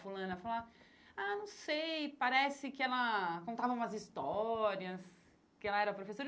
Fulana falar, ah, não sei, parece que ela contava umas histórias, que ela era professora.